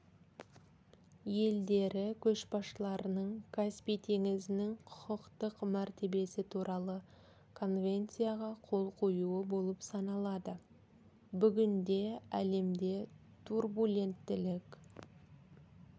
елдері көшбасшыларының каспий теңізінің құқықтық мәртебесі туралы конвенцияға қол қоюы болып саналады бүгінде әлемде турбуленттілік